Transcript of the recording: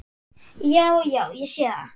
Já, já. ég sé það.